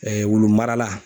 wulumara la